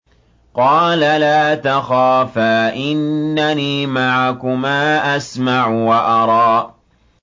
قَالَ لَا تَخَافَا ۖ إِنَّنِي مَعَكُمَا أَسْمَعُ وَأَرَىٰ